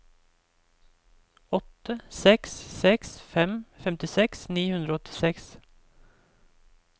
åtte seks seks fem femtiseks ni hundre og åttiseks